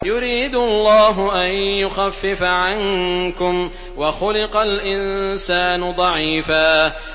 يُرِيدُ اللَّهُ أَن يُخَفِّفَ عَنكُمْ ۚ وَخُلِقَ الْإِنسَانُ ضَعِيفًا